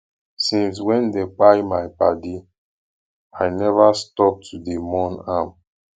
since wey dem kpai my paddy i neva stop to dey mourn am